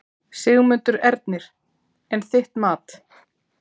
Sigmundur Ernir: En þitt mat?